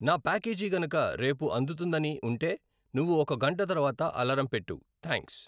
నా ప్యాకేజీ కనక రేపు అందుతుందని ఉంటే నువ్వు ఒక గంట తర్వాత అలారం పెట్టు, థాంక్స్